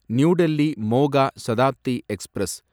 new Delhi Moga Shatabdi express